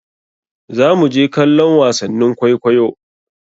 Zamu je kallon wasannin kwaikwaiyo.